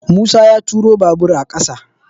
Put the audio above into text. Musa ya turo babur a ƙasa